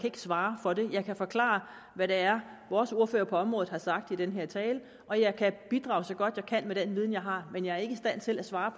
ikke svare for det jeg kan forklare hvad det er vores ordfører på området har sagt i den her tale og jeg kan bidrage så godt jeg kan med den viden jeg har men jeg ikke i stand til at svare